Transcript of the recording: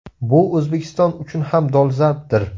Bu O‘zbekiston uchun ham dolzarbdir.